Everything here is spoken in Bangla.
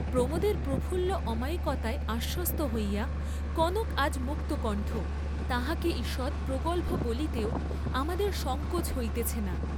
প্রমোদের প্রফুল্ল অমায়িকতায় আশ্বস্ত হইয়া কনক আজ মুক্তকণ্ঠ, তাহাকে ঈষৎ প্রগল্‌ভ বলিতেও আমাদের সঙ্কোচ হইতেছে না।